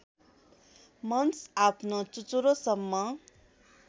मन्स आफ्नो चुचुरोसम्म